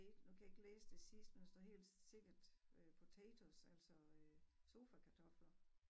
Nu kan jeg ikke læse det sidste men der står helt sikkert øh potatoes altså øh sofakartofler